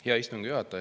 Hea istungi juhataja!